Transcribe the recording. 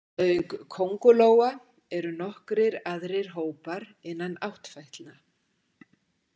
Auk köngulóa eru nokkrir aðrir hópar innan áttfætlna.